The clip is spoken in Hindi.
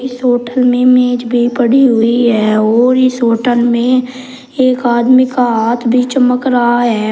इस होटल में मेज भी पड़ी हुई है और इस होटल में एक आदमी का हाथ भी चमक रहा है।